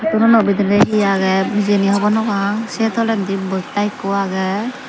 dulono bedirey he aagey hejeni hobonopang se toledi boyta ekko aageu.